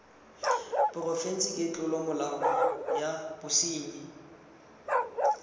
porofense ke tlolomolao ya bosenyi